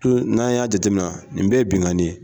n'an y'a jate nina nin bɛ ye binkani ye